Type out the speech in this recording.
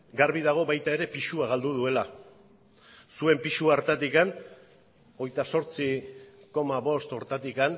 garbi dago baita ere pisua galdu duela zuen pisu hartatik hogeita zortzi koma bost horretatik